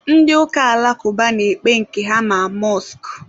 ndị ụka alakụba na-ekpe nke ha ma mọskụ.